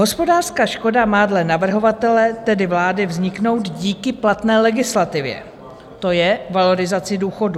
Hospodářská škoda má dle navrhovatele, tedy vlády, vzniknout díky platné legislativě, to je valorizaci důchodů.